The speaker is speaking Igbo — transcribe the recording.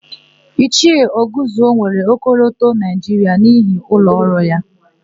Ichie Ọgụzie nwere ọkọlọtọ Naịjiria n'ihu ụlọọrụ ya.